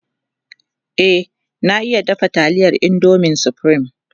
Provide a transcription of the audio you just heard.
e na iya dafa taliyar indomin supreme